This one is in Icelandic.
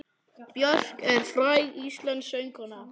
Björk er fræg íslensk söngkona.